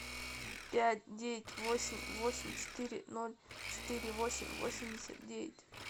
пять девять восемь восемь четыре ноль четыре восемь восемьдесят девять